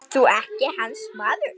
Ert þú ekki hans maður?